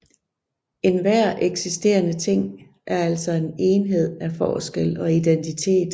Enhver eksisterende ting er altså en enhed af forskel og identitet